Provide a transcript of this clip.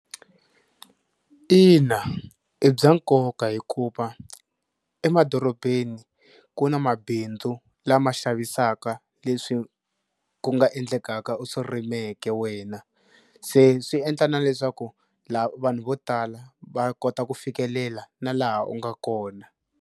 Ina i bya nkoka hikuva emadorobeni ku na mabindzu lama xavisaka leswi ku nga endlekaka u swi rimeke wena se swi endla na leswaku la vanhu vo tala va kota ku fikelela na laha u nga kona.